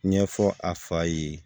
Ɲɛfɔ a fa ye